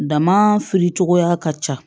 Dama firi cogoya ka ca